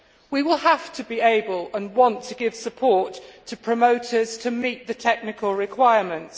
We will have to be able and want to give support to promoters to meet the technical requirements.